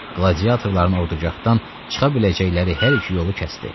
Qladiyatorların ordugahdan çıxa biləcəkləri hər iki yolu kəsdi.